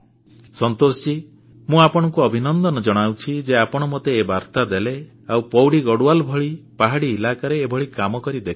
ସନ୍ତୋଷଜୀ ମୁଁ ଆପଣଙ୍କୁ ଅଭିନନ୍ଦନ ଜଣାଉଛି ଯେ ଆପଣ ମୋତେ ଏ ବାର୍ତ୍ତା ଦେଲେ ଆଉ ପୌଡ଼ି ଗଡ଼ୱାଲ ଭଳି ପାହାଡି ଅଞ୍ଚଳରେ ଏଭଳି କାମ କରି ଦେଖାଇଲେ